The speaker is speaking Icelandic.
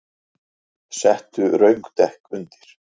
Settu röng dekk undir